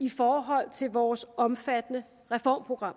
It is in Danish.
i forhold til vores omfattende reformprogram